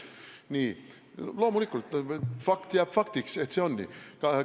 Nii, loomulikult, fakt jääb faktiks, et nii see on.